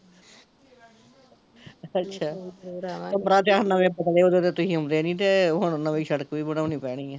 ਅੱਛਾ ਪਤਲੇ ਹੋਜੋ ਤੇ ਤੁਸੀਂ ਆਉਂਦੇ ਨੀ ਜੇ ਹੁਣ ਨਵੀਂ ਸੜਕ ਵੀ ਬਣਾਉਣੀ ਪੈਣੀ ਐ